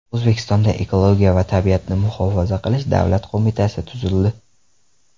O‘zbekistonda Ekologiya va tabiatni muhofaza qilish davlat qo‘mitasi tuzildi.